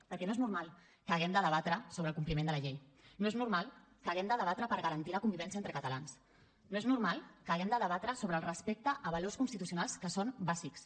perquè no és normal que haguem de debatre sobre el compliment de la llei no és normal que haguem de debatre per garantir la convivència entre catalans no és normal que haguem de debatre sobre el respecte a valors constitucionals que són bàsics